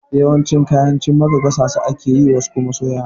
Yawancin kayan cimaka gasa su ake yi, wasu kuma soyawa.